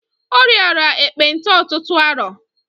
Ọ riara ekpenta ọtụtụ arọ.